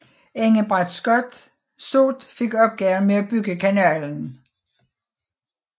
Engebret Soot fik opgaven med at bygge kanalen